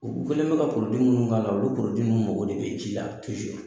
U kɛlen do ka munnu k' ala olu mago de bɛ ji la